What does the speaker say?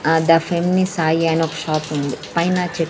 ఆ ద ఫెమ్ని సాయి అని ఒక షాపుంది పైన చె --